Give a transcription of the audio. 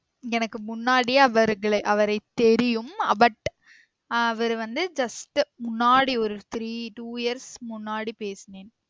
எனக்கு முன்னாடியே அவர்களை அவரை தெரியும் but அவர் வந்து just முன்னாடி ஒரு three two years முன்னாடி பேசுனேன்